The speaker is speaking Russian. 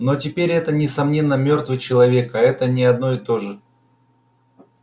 но теперь это несомненно мёртвый человек а это не одно и то же